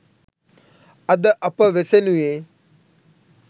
අද අප වෙසෙනුයේ